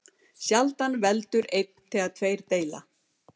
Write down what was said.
Sjaldan veldur einn þegar tveir deila.